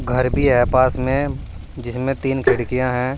घर भी है पास में जिसमें तीन खिड़कियां हैं।